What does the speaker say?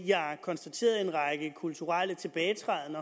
jeg konstaterede en række kulturel tilbagetræden